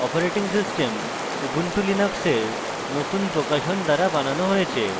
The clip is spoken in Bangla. operating system ubuntu linux নতুন প্রকাশন দ্বারা বানানো হয়েছে